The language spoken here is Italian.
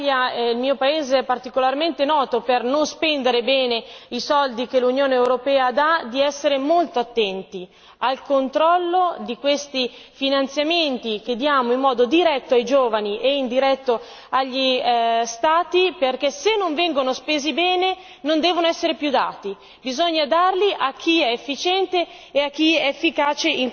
Quello che le chiedo fortemente, anche perché l'Italia, il mio paese, è particolarmente noto per non spendere bene i soldi che l'Unione europea dà, è di essere molto attenti al controllo di questi finanziamenti che diamo in modo diretto ai giovani e indiretto agli Stati, perché se non vengono spesi bene non devono essere più dati.